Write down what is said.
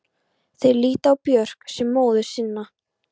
Þeir líta á Björk sem móður sína.